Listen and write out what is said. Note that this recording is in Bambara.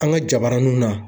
An ka jabaraninw na.